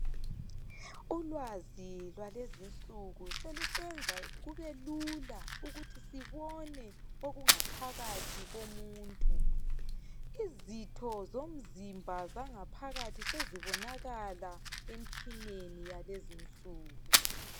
Ulwazi lwalezinsuku selusenza kube lula ukuthi sibone okungaphakathi komuntu. Izitho zomzimba zangaphakathi sezibonakala emtshineni yalezinsuku.